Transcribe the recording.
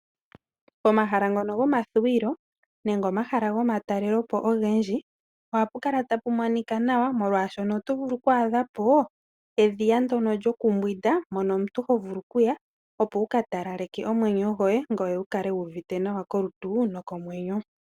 Omahala ngono gomathuwilo nenge omahala ngono gomatalelepo ogendji, ohapu kala tapu monika nawa molwaashono oto vulu okwaadhapo edhiya ndyono lyokumbwinda, mono omuntu hovulu okuya opo wukatalaleke omwenyo gwoye, ngoye wukale wuuvite nawa kolutu nokomwenyo.